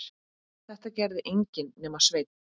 Þetta gerði enginn nema Sveinn.